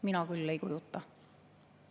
Mina küll ei kujuta.